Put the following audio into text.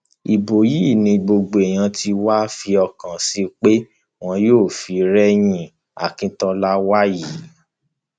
ibo yìí ni gbogbo èèyàn tí wàá fi ọkàn sí pé wọn yóò fi rẹyìn àkíntola wàyí